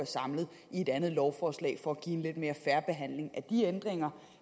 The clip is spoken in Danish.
samlet i et andet lovforslag for at give en lidt mere fair behandling af de ændringer